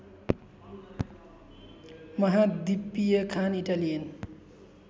महाद्वीपीय खान इटालियन